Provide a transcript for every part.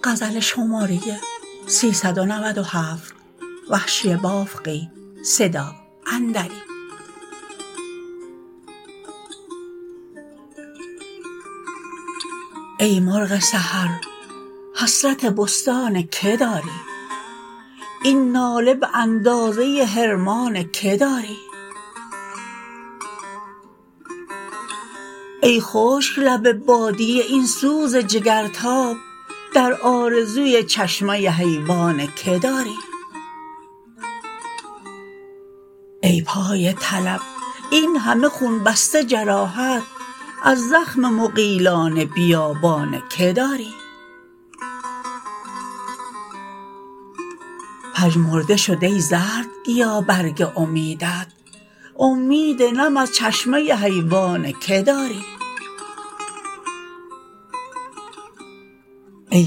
ای مرغ سحر حسرت بستان که داری این ناله به اندازه حرمان که داری ای خشک لب بادیه این سوز جگرتاب در آرزوی چشمه حیوان که داری ای پای طلب این همه خون بسته جراحت از زخم مغیلان بیابان که داری پژمرده شد ای زردگیا برگ امیدت امید نم از چشمه حیوان که داری ای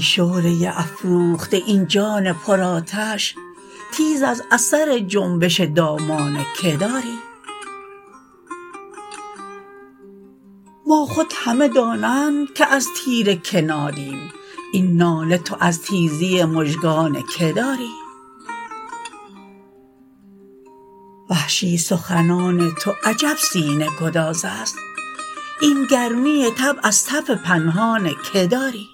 شعله افروخته این جان پر آتش تیز از اثر جنبش دامان که داری ما خود همه دانند که از تیر که نالیم این ناله تو از تیزی مژگان که داری وحشی سخنان تو عجب سینه گداز است این گرمی طبع از تف پنهان که داری